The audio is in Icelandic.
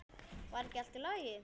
Var ekki allt í lagi?